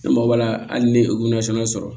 Ne mago b'a la hali ne ye sɔrɔ